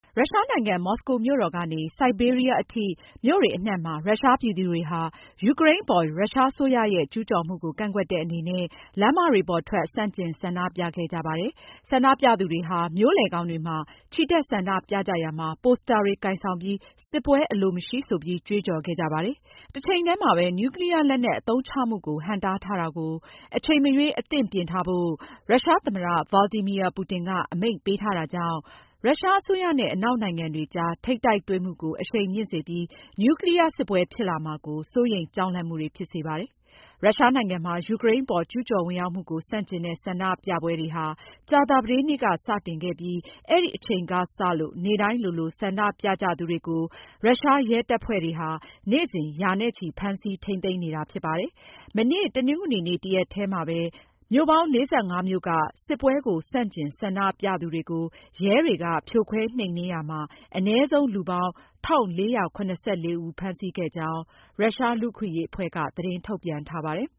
ရုရှားနိုင်ငံ မော်စကိုမြို့တော်ကနေ ဆိုက်ဘေးရီးယားအထိ မြို့တွေအနှံ့မှာ ရုရှားပြည်သူတွေဟာ ယူကရိန်းအပေါ် ရုရှားအစိုးရရဲ့ ကျူးကျော်မှုကို ကန့်ကွက်တဲ့အနေနဲ့ လမ်းမတွေပေါ်ထွက် ဆန့်ကျင် ဆန္ဒပြခဲ့ကြပါတယ်။ ဆန္ဒပြသူတွေဟာ မြို့လယ်ခေါင်တွေမှာ ချီတက်ဆန္ဒပြကြရာမှာ ပိုစတာတွေ ကိုင်ဆောင်ပြီး စစ်ပွဲအလိုမရှိဆိုပြီး ကြွေးကြော်ခဲ့ကြပါတယ်။ တချိန်တည်းမှာပဲ နျူကလီးယားလက်နက် အသုံးချမှုကို ဟန့်တားထားချက်ကို အချိန်မရွေး အသင့်ပြင်ထားဖို့ ရုရှားသမ္မတ Vladimir Putin က အမိန့်ပေးထားတာကြောင့် ရုရှားအစိုးရနဲ့ အနောက်နိုင်ငံတွေကြား ထိပ်တိုက်တွေ့မှုကို အရှိန်မြင့်စေပြီး နျူကလီးယားစစ်ပွဲ ဖြစ်လာမှာ စိုးရိမ်ကြောက်လန့်မှုတွေ ဖြစ်စေပါတယ်။ ရုရှားနိုင်ငံမှာ ယူကရိန်းအပေါ် ကျူးကျော်ဝင်ရောက်မှုကို ဆန့်ကျင်တဲ့ ဆန္ဒပြပွဲတွေဟာ ကြာသပတေးနေ့က စတင်ခဲ့ပြီး အဲဒီအချိန်ကစလို့ နေ့တိုင်းလိုလို ဆန္ဒပြကြသူတွေကို ရုရှားရဲတပ်ဖွဲ့တွေက နေ့စဉ် ရာနဲ့ချီ ဖမ်းဆီးထိန်းသိမ်းနေတာ ဖြစ်ပါတယ်။ မနေ့ တနင်္ဂနွေ တရက်တည်းမှာပဲ မြို့ပေါင်း ၄၅ မြို့က စစ်ပွဲဆန့်ကျင် ဆန္ဒပြသူတွေကို ရဲတွေက ဖြိုခွဲနှိမ်နင်းရာမှာ အနည်းဆုံး လူပေါင်း ၁,၄၇၄ ဦး ဖမ်းဆီးခဲ့ကြောင်း OVD-Info လူ့အခွင့်အရေးအဖွဲ့က သတင်းထုတ်ပြန်ထားပါတယ်